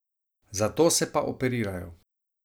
Zato se pa operirajo.